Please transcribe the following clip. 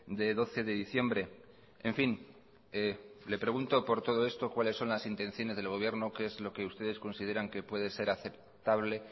de doce de diciembre en fin le pregunto por todo esto cuáles son las intenciones del gobierno qué es lo que ustedes consideran que puede ser aceptable